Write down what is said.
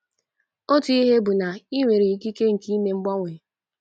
Otu ihe bụ na i nwere ikike nke ime mgbanwe.